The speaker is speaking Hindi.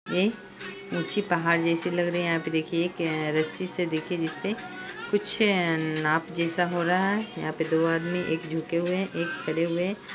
ये ऊँची पहाड़ जैसी लग रही है यहाँ पे देखिये एक रस्सी से देखिये जिसपे कुछ नाप जैसा हो रहा है| यहाँ पे दो आदमी एक झुके हुए हैं एक खड़े हुए हैं।